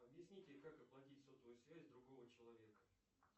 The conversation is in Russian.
объясните как оплатить сотовую связь другого человека